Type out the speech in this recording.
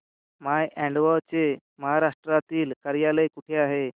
माय अॅडवो चे महाराष्ट्रातील कार्यालय कुठे आहे